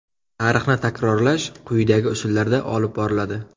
Tarixni takrorlash quyidagi usullarda olib boriladi.